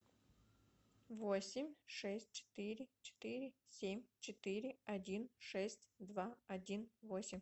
восемь шесть четыре четыре семь четыре один шесть два один восемь